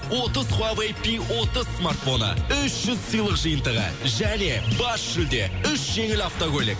отыз хуавей пи отыз смартфоны үш жүз сыйлық жиынтығы және бас жүлде үш жеңіл автокөлік